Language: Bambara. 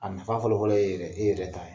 A nafa fɔlɔ fɔlɔ ye e ye de e yɛrɛ ta.